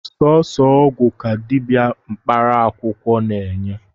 Sọsọ ọgwụ ka dịbịa mkparaakwụkwọ na-eney